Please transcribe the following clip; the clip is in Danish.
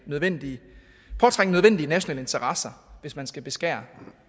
nødvendige nationale interesser hvis man skal beskære